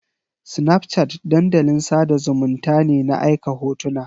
Snapchat dandalin sada zumunnta ne na aika hotuna